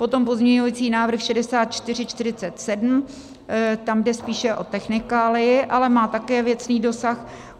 Potom pozměňovací návrh 6447, tam jde spíše o technikálii, ale má také věcný dosah.